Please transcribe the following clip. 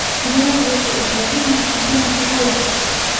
Digaagga waxay u baahan yihiin cunto nafaqo leh.